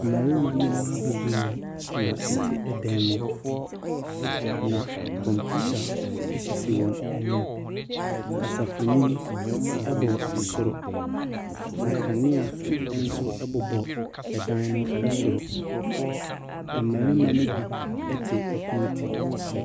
Mmarima ne maa bebree na ɛte dan mu. Na kɔmputa esisi wɔn anim. Kasafoni bɔ soro. Na kanea ɛbobɔ ɛdan no ɛsoro. Ɛmmarima no bi te ɛpo ti.